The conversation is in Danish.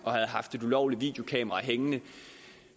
havde haft et ulovligt videokamera hængende